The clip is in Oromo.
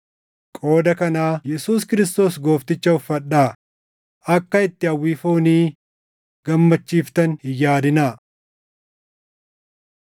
Qooda kanaa Yesuus Kiristoos Goofticha uffadhaa; akka itti hawwii foonii gammachiiftan hin yaadinaa.